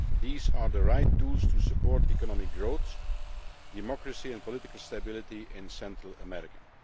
These are the right tools to support economic growth, democracy and political stability in Central America.